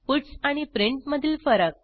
puts आणि print मधील फरक